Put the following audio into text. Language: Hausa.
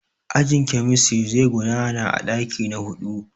Ajin kemistiri zai gudana a ɗaki na huɗu.